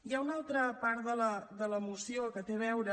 hi ha un altra part de la moció que té a veure